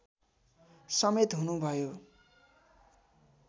समेत हुनुभयो